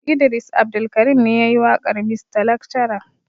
Idris Abdulkarim ne yayi waƙar mista lakcara.